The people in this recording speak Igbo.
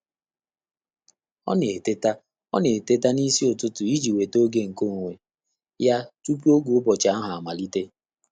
Ọ́ nà-étètá Ọ́ nà-étètá n’ísí ụ́tụ́tụ̀ ìjí nwètá ògé nké ónwé yá túpù ògé ụ́bọ̀chị̀ áhụ́ àmàlị̀tè.